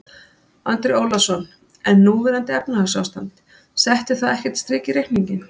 Andri Ólafsson: En núverandi efnahagsástand, setti það ekkert strik í reikninginn?